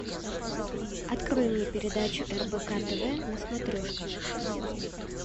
открой мне передачу рбк тв на смотрешке